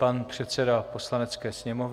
Pan předseda Poslanecké sněmovny.